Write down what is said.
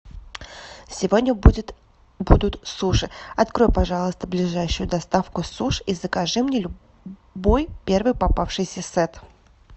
сегодня будет будут суши открой пожалуйста ближайшую доставку суш и закажи мне любой первый попавшийся сет